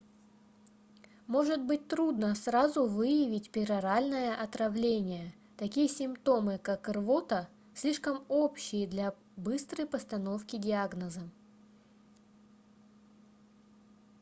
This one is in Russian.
может быть трудно сразу выявить пероральное отравление такие симптомы как рвота слишком общие для быстрой постановки диагноза